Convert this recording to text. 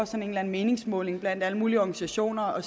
sådan en meningsmåling blandt alle mulige organisationer og